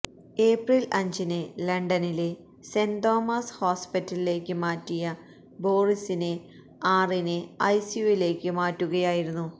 April അഞ്ചിന് ലണ്ടനിലെ saint Thomas ഹോസ്പിറ്റലിലേക്ക് മാറ്റിയ ബോറിസിനെ ആറിന് ഐസിയുവിലേക്ക് മാറ്റുകയായിരുന്നു